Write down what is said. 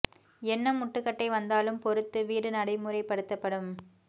என்ன முட்டுக்கட்டை வந்தாலும் பொருத்து வீடு நடைமுறைப்படுத்தப்படும்